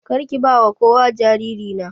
Karki bawa kowa jariri na.